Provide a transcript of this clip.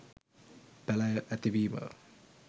පැළැය ඇතිවීම